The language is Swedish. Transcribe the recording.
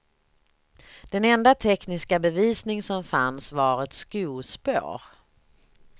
Den enda tekniska bevisning som fanns var ett skospår.